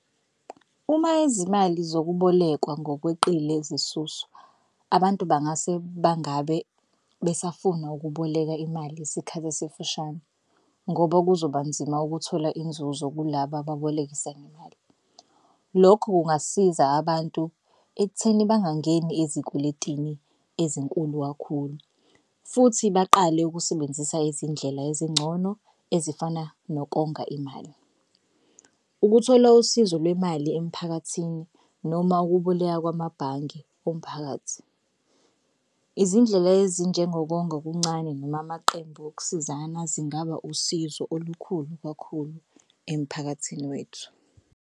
Uma izimali zokubolekwa ngokweqile ziyasuswa abantu bangase bangabe besafuna ukuboleka imali isikhathi esifishane ngoba kuzoba nzima ukuthola inzuzo kulaba ebolekisa ngemali. Lokho kungasiza abantu ekutheni bangangeni ezikweletini ezinkulu kakhulu futhi baqale ukusebenzisa izindlela ezingcono ezifana nokonga imali. Ukuthola usizo lwemali emphakathini noma ukuboleka kwamabhange omphakathi. Izindlela ezinjengokonga okuncane noma amaqembu okusizana zingaba usizo olukhulu kakhulu emphakathini wethu.